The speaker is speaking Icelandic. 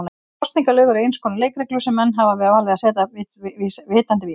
Kosningalög eru eins konar leikreglur sem menn hafa valið að setja vitandi vits.